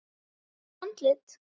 Fínt andlit?